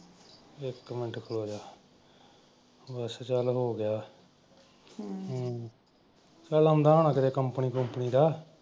ਇੱਕ ਮਿੰਟ ਖਲੋ ਜਾ ਬਸ ਚੱਲ ਹੋ ਗਿਆ ਹਮ ਚੱਲ ਆਉਂਦਾ ਹੋਣ company ਕੂੰਪਨੀ ਦਾ।